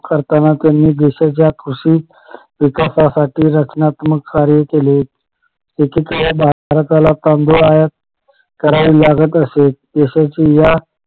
करताना त्यांनी देशाच्या कृषी विकासासाठी रचनात्मक कार्य केले एकेकाळी भारताला तांदूळ आयात करावी लागत असे देशाची या